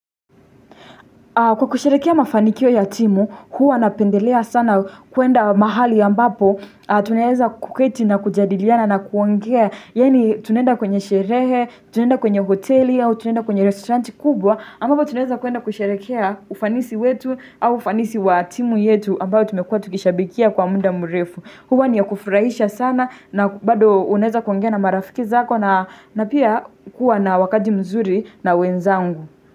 Kwa kusherehekea mafanikio ya timu, huwa napendelea sana kuenda mahali ambapo, tunaeza kuketi na kujadiliana na kuongea, yaani tunaenda kwenye sherehe, tunaenda kwenye hoteli, tunaenda kwenye restauranti kubwa, ambapo tunaeza kuenda kusherehekea ufanisi wetu au ufanisi wa timu yetu ambayo tumekuwa tukishabikia kwa muda mrefu. Huwa ni ya kufurahisha sana na bado unaeza kuongea na marafiki zako na pia kuwa na wakati mzuri na wenzangu.